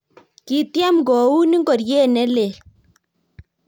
Kitiem koun ngoriet ne lel